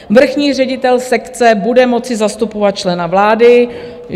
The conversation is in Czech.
Vrchní ředitel sekce bude moci zastupovat člena vlády.